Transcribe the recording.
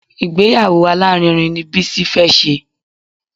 Ìgbéyàwó alárinrin ni Bísí fẹ́ ṣe